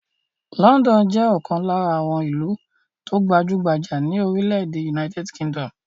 Lọ́ńdọ́nù jẹ́ ọ̀kan lára àwọn ìlú tó gbajú-gbajà ní orílẹ̀-èdè United Kingdom.